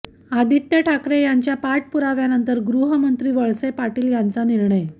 आदित्य ठाकरे यांच्या पाठपुराव्यानंतर गृहमंत्री वळसे पाटील यांचा निर्णय